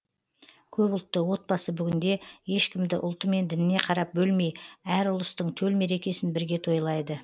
көпұлтты отбасы бүгінде ешкімді ұлты мен дініне қарап бөлмей әр ұлыстың төл мерекесін бірге тойлайды